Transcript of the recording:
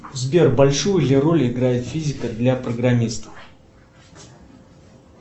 сбер большую ли роль играет физика для программистов